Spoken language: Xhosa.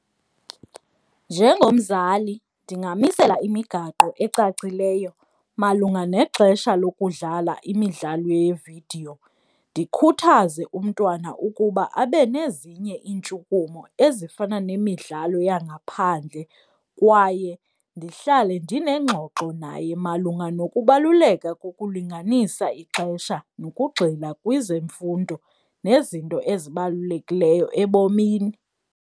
Njengomzali ndingamisela imigaqo ecacileyo malunga nexesha lokudlala imidlalo yeevidiyo, ndikhuthaze umntwana ukuba abe nezinye iintshukumo ezifana nemidlalo yangaphandle, kwaye ndihlale ndinengxoxo naye malunga nokubaluleka kokulinganisa ixesha nokugxila kwezemfundo nezinto ezibalulekileyo ebomini.